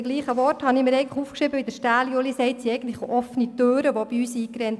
Auch bei uns werden, um Grossrat Stähli zu zitieren, offene Türen eingerannt.